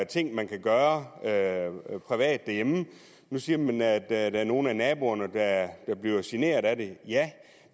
ting man kan gøre privat derhjemme nu siger man at der er nogle af naboerne der bliver generet af det ja